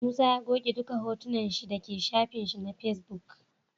Musa ya goge duka hotunan shi daka shafin shi ma face book